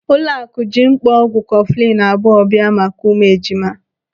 Ụlọaku ji mkpọ ọgwụ kọfụlinu abụọ bịa maka ụmụ ejima.